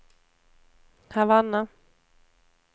Havanna